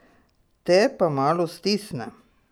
Te pa malo stisne.